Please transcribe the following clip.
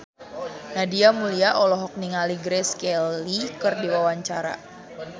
Nadia Mulya olohok ningali Grace Kelly keur diwawancara